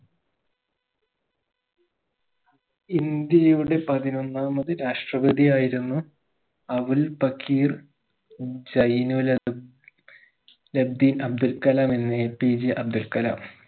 ഇന്ത്യയുടെ പതിനൊന്നാമത് രാഷ്ട്രപതിയായിരുന്നു അവുൽ പകിർ ജൈനുല ലബ്ദീൻ അബ്ദുൽ കലാം എന്ന APJ അബ്ദുൽ കലാം